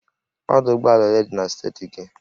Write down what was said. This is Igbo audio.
Ọdụ ụgbọ ala ole dị na steeti gị?